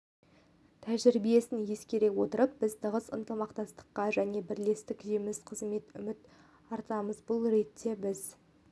тәжірибесін ескере отырып біз тығыз ынтымақтастыққа және бірлескен жемісті қызметке үміт артамыз бұл ретте біз